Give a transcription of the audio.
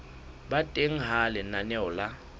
ba teng ha lenaneo la